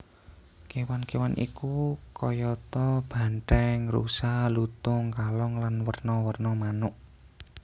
Kewan kewan iku kayata banthèng rusa lutung kalong lan werna werna manuk